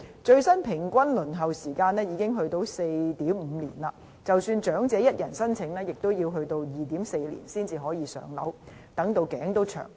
最新的平均輪候時間已達 4.5 年，即使長者一人申請，平均也要 2.4 年才可以"上樓"，真的等到"頸都長"。